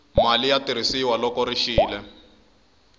mali ya tirhisiwa loko ri xile